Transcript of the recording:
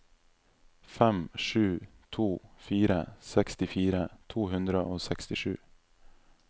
fem sju to fire sekstifire to hundre og sekstisju